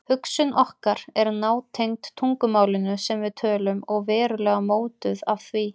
Hugsun okkar er nátengd tungumálinu sem við tölum og verulega mótuð af því.